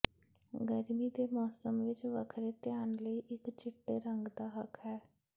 ਗਰਮੀ ਦੇ ਮੌਸਮ ਵਿਚ ਵੱਖਰੇ ਧਿਆਨ ਲਈ ਇਕ ਚਿੱਟੇ ਰੰਗ ਦਾ ਹੱਕ ਹੈ